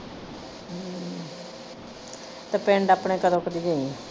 ਤੇ ਪਿੰਡ ਆਪਣੇ ਕਦੋਂ ਕ ਦੀ ਗਈ ਏ?